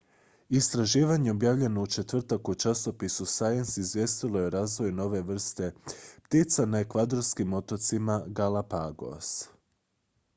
istraživanje objavljeno u četvrtak u časopisu science izvijestilo je o razvoju nove vrste ptica na ekvadorskim otocima galapagos